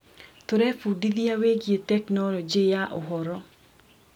Tũrebundithia wĩgiĩ tekinoronjĩ ya ũhoro.